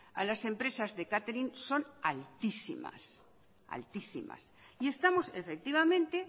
a las empresas de catering son altísimas y estamos efectivamente